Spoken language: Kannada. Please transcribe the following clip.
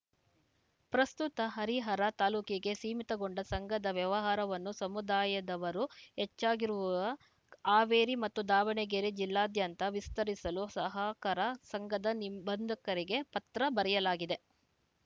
ಪ್ರಸ್ತುತ ಹರಿಹರ ತಾಲೂಕಿಗೆ ಸೀಮಿತಗೊಂಡ ಸಂಘದ ವ್ಯವಹಾರವನ್ನು ಸಮುದಾಯದವರು ಹೆಚ್ಚಾಗಿರುವ ಹಾವೇರಿ ಮತ್ತು ದಾವಣಗೆರೆ ಜಿಲ್ಲಾದ್ಯಂತ ವಿಸ್ತರಿಸಲು ಸಹಕಾರ ಸಂಘದ ನಿಬಂಧಕರಿಗೆ ಪತ್ರ ಬರೆಯಲಾಗಿದೆ